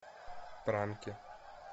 пранки